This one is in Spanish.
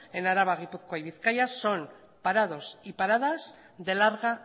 en araba gipuzkoa y bizkaia son parados y paradas de larga